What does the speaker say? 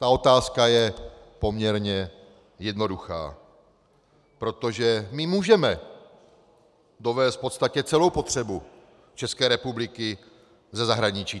Ta otázka je poměrně jednoduchá, protože my můžeme dovézt v podstatě celou potřebu České republiky ze zahraničí.